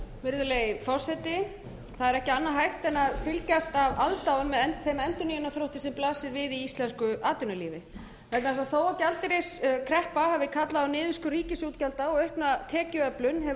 virðulegi forseti það er ekki annað hægt en fylgjast með aðdáun með þeim endurnýjunarþrótti sem blasir við í íslensku atvinnulífi vegna þess að þó gjaldeyriskreppa hafi kallað á niðurskurð ríkisútgjalda og aukna tekjuöflun hefur